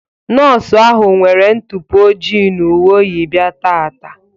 Nọọsụ ahụ nwere ntụpọ ojii na uwe oyi bịa taata.